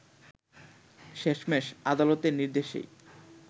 শেষমেশ আদালতের নির্দেশেই